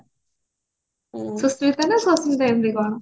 ସୁସ୍ମିତା ନା ସମ୍ମିତା ଏମିତି କଣ